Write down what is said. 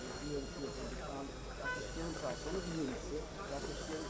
Bu il, yəni bizə düşə bilər, sonra bizə deyə bilər.